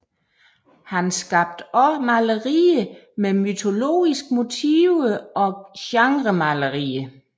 Han skabte også malerier med mytologiske motiver og genremalerier